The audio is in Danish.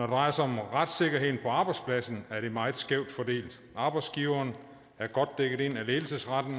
drejer sig om retssikkerheden på arbejdspladsen er det meget skævt fordelt arbejdsgiveren er godt dækket ind af ledelsesretten